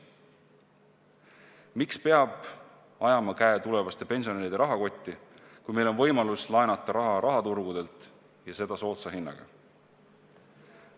Miks peab ajama käe tulevaste pensionäride rahakotti, kui meil on võimalus laenata raha rahaturgudelt, ja seda soodsa hinnaga?